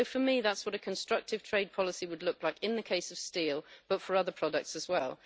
For me, that's what a constructive trade policy would look like in the case of steel, but for other products as well.